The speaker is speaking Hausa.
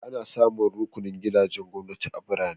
Ana samun rukunin gidajen gwamnati a birane.